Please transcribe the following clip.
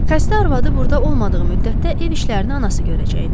Xəstə arvadı burda olmadığı müddətdə ev işlərini anası görəcəkdi.